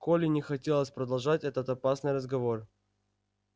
коле не хотелось продолжать этот опасный разговор